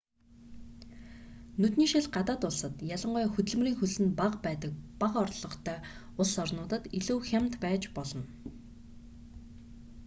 нүдний шил гадаад улсад ялангуяа хөдөлмөрийн хөлс нь бага байдаг бага орлоготой улс орнуудад илүү хямд байж болно